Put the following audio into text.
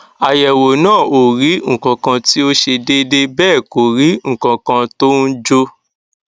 àyẹwò náà ò rí nǹkankan tí ò ṣe déédé bẹẹ kò rí nǹkankan tó ń jò